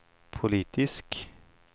politisk